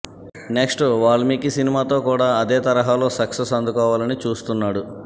next Valmiki సినిమాతో కూడా అదే తరహాలో సక్సెస్ అందుకోవాలని చూస్తున్నాడు